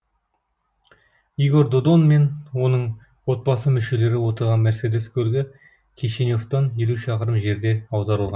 игорь додон мен оның отбасы мүшелері отырған мерседес көлігі кишиневтен елу шақырым жерде аударылған